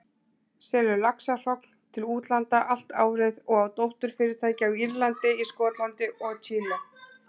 selur laxahrogn til útlanda allt árið og á dótturfyrirtæki á Írlandi, í Skotlandi og Chile.